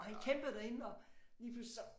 Og han kæmpede derinde og lige pludselig så